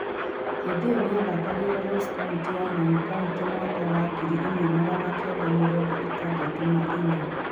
Hĩndĩ ĩyo nĩ athakagĩra Ross Kauntĩ ya Nairn County mwaka wa ngiri ĩmwe magana kenda mĩrongo ĩtandatũ na inya.